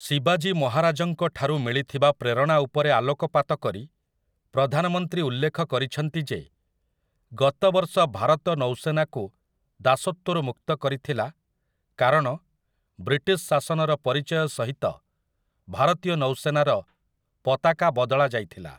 ଶିବାଜୀ ମହାରାଜଙ୍କଠାରୁ ମିଳିଥିବା ପ୍ରେରଣା ଉପରେ ଆଲୋକପାତ କରି ପ୍ରଧାନମନ୍ତ୍ରୀ ଉଲ୍ଲେଖ କରିଛନ୍ତି ଯେ, ଗତ ବର୍ଷ ଭାରତ ନୌସେନାକୁ ଦାସତ୍ୱରୁ ମୁକ୍ତ କରିଥିଲା କାରଣ ବ୍ରିଟିଶ ଶାସନର ପରିଚୟ ସହିତ ଭାରତୀୟ ନୌସେନାର ପତାକା ବଦଳାଯାଇଥିଲା ।